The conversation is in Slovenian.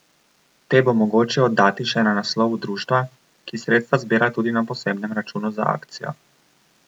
Te bo mogoče oddati še na naslovu društva, ki sredstva zbira tudi na posebnem računu za akcijo.